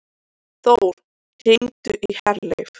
Þór, hringdu í Herleif.